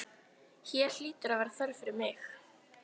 Hér hlýtur að vera þörf fyrir mig.